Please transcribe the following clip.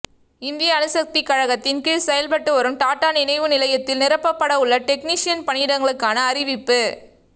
இந்திய அணுசக்திக் கழகத்தின் கீழ் செயல்பட்டு வரும் டாடா நினைவு நிலையத்தில் நிரப்பப்பட உள்ள டெக்னீசியன் பணியிடங்களுக்கான அறிவிப்பு